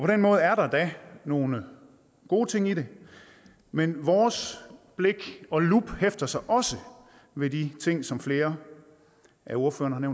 den måde er der da nogle gode ting i det men vores blik og lup hæfter sig også ved de ting som flere af ordførerne